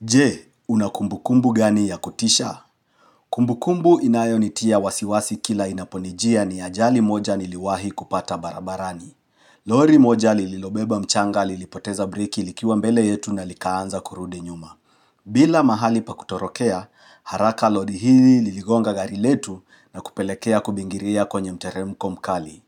Je, unakumbu kumbu gani ya kutisha? Kumbu kumbu inayo nitia wasiwasi kila inaponijia ni ajali moja niliwahi kupata barabarani. Lori moja lililobeba mchanga lilipoteza briki likiwa mbele yetu na likaanza kurudi nyuma. Bila mahali pa kutorokea, haraka lori hili liligonga gari letu na kupelekea kubingiria kwenye mteremko mkali.